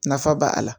Nafa b'a la